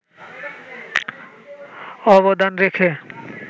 অবদান রেখে